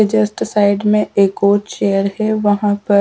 के just side में एक और चेयर हैवहां पर।